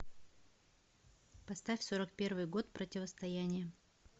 поставь сорок первый год противостояние